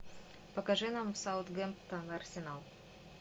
покажи нам саутгемптон арсенал